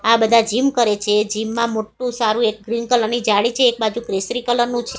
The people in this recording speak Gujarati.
આ બધા જીમ કરે છે જીમ માં મોટું સારું એક ક્રીમ કલર ની જાળી છે એક બાજુ કેસરી કલર નું--